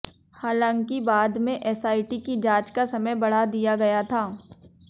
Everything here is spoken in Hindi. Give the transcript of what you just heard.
हालांकि बाद में एसआइटी की जांच का समय बढ़ा दिया गया था